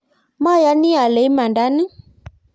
mayani ale imanda ni